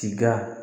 Tiga